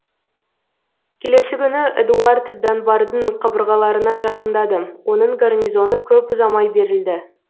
келесі күні эдуард данбардың қабырғаларына жақындады оның гарнизоны көп ұзамай берілді